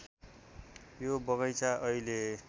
यो बगैंचा अहिले